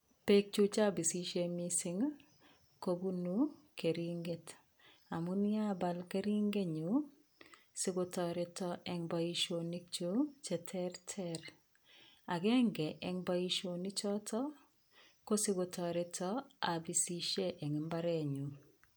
Peek chuk che apisishe missing' i, ko punu keringet amun yapal keringenyun sikotareta eng' poishonikchuk che terter. Agenge eng' poishonichotok i ko si ko tareta apisishe eng' mbarenyun.